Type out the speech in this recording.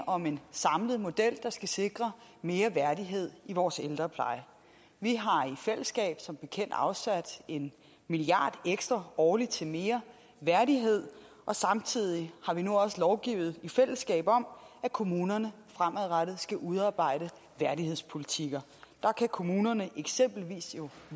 om en samlet model der skal sikre mere værdighed i vores ældrepleje vi har i fællesskab som bekendt afsat en milliard ekstra årligt til mere værdighed og samtidig har vi nu også lovgivet i fællesskab om at kommunerne fremadrettet skal udarbejde værdighedspolitikker der kan kommunerne eksempelvis jo